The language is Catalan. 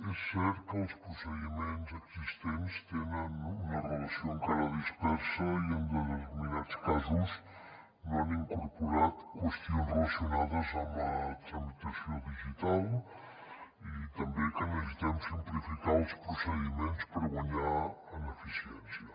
és cert que els procediments existents tenen una relació encara dispersa i en determinats casos no han incorporat qüestions relacionades amb la tramitació digital i també que necessitem simplificar els procediments per guanyar en eficiència